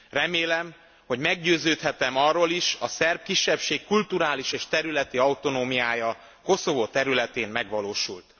Remélem, hogy meggyőződhetem arról is a szerb kisebbség kulturális és területi autonómiája Koszovó területén megvalósul.